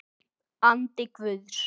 Andi Guðs.